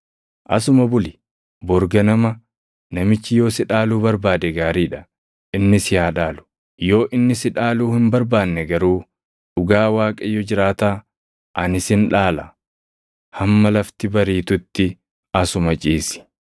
Asuma buli; bori ganama namichi yoo si dhaaluu barbaade gaarii dha; inni si haa dhaalu. Yoo inni si dhaaluu hin barbaanne garuu dhugaa Waaqayyo jiraataa, ani sin dhaala. Hamma lafti bariitutti asuma ciisi.”